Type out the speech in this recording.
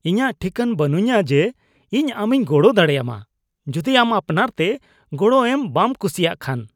ᱤᱧᱟᱜ ᱴᱷᱤᱠᱟᱹᱱ ᱵᱟᱹᱱᱩᱧᱟ ᱡᱮ ᱤᱧ ᱟᱢᱤᱧ ᱜᱚᱲᱚ ᱫᱟᱲᱮ ᱟᱢᱟ ᱡᱩᱫᱤ ᱟᱢ ᱟᱯᱱᱟᱨ ᱛᱮ ᱜᱚᱲᱚ ᱮᱢ ᱵᱟᱢ ᱠᱩᱥᱤᱭᱟᱜ ᱠᱷᱟᱱ ᱾